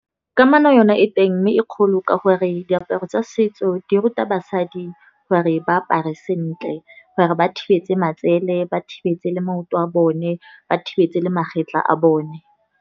Kamano yona e teng mme e kgolo ka gore diaparo tsa setso di ruta basadi gore ba apare sentle. Gore ba thibetse matsele, ba thibetse le maoto a bone ba thibetse le magetlha a bone.